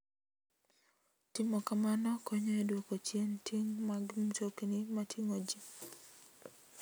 Timo kamano konyo e dwoko chien ting' mag mtokni mating'o ji.